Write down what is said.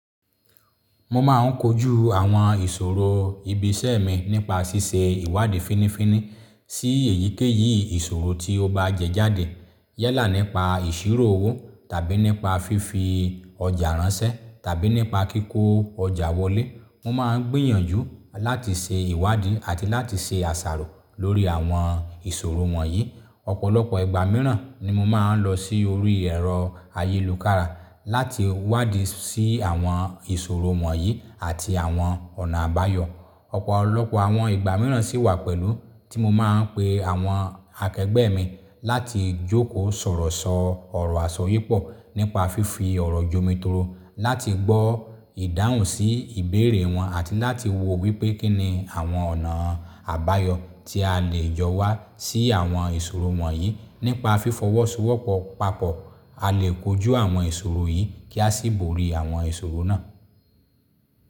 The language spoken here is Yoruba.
Mo máa ń kojú àwọn ìṣòro ibi iṣẹ́ mi nípa ṣíṣe ìwádìí fínífíní sí èyíkéyìí ìṣòro tí ó bá jẹjáde. Yẹ́là nípa ìṣirò owó tàbí nípa fífi ọjà ránṣẹ́ tàbí nípa kíkó ọjà wọlé. Mo máa ń gbìyànjú láti ṣe ìwádìí àti láti ṣe àṣàrò lórí àwọn ìṣòro wọ̀nyí. Ọ̀pọ̀lọpọ̀ ìgbà mìíràn ni mo máa ń lọ sí orí ẹ̀rọ ayélùkára láti wádìí sí àwọn ìṣòro wọ̀nyí àti àwọn ọ̀nà àbáyọ. Ọ̀pọ̀lọpọ̀ àwọn ìgbà mìíràn sì wà pẹ̀lú tí mo máa ń pe àwọn akẹgbẹ́ mi láti jókòó sọ̀rọ̀ sọ ọ̀rọ̀ àsọyépọ̀ nípa fífi ọ̀rọ̀ jomitoro láti gbọ́ ìdáhùn sí ìbéèrè wọn àti láti wò wípé kín ni àwọn ọ̀nà àbáyọ tí a lè yọ wá sí àwọn ìṣòro wọ̀nyí. Nípa fífọwọ́sowọ́pọ̀ papọ̀ a lè kojú àwọn ìṣòro yìí kí a sì borí àwọn ìṣòro náà.